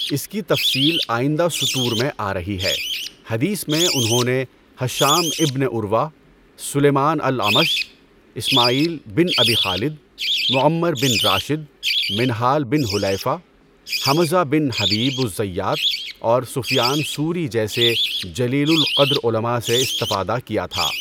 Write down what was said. اس کی تفصیل آئندہ سطور میں آرہی ہے۔ حدیث میں انہوں نے Hisham ibn Urwah, Sulaiman al Amash, Ismail bin Abi Khalid, Muammar bin Rashid, Minhal bin Hulaifa, Hamza bin Habib al Zayyat اور سفیان ثوری جیسے جلیل القدر علماء سے استفادہ کیا تھا۔